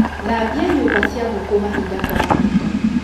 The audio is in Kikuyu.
Thambia nyũmba cia ngĩkũ mahinda kwa mahinda.